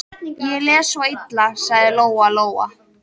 Ég les svo illa, sagði Lóa-Lóa.